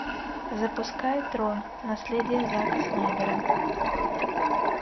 запускай трон наследие зака снайдера